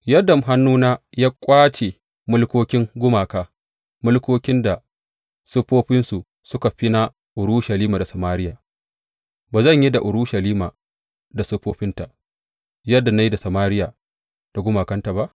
Yadda hannuna ya ƙwace mulkokin gumaka, mulkokin da siffofinsu suka fi na Urushalima da Samariya, ba zan yi da Urushalima da siffofinta yadda na yi da Samariya da gumakanta ba?’